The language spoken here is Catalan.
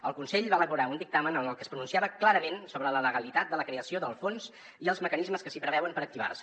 el consell va elaborar un dictamen en el que es pronunciava clarament sobre la legalitat de la creació del fons i els mecanismes que s’hi preveuen per activar se